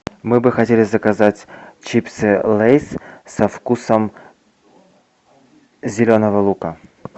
мы бы хотели заказать чипсы лейс со вкусом зеленого лука